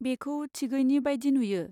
बेखौ थिगैनि बायदि नुयो।